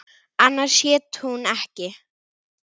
Annars hét hún ekki